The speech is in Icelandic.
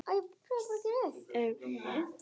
Að tala við fólkið heima.